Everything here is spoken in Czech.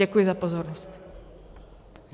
Děkuji za pozornost.